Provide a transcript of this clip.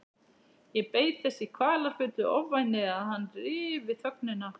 Ég beið þess í kvalafullu ofvæni að hann ryfi þögnina.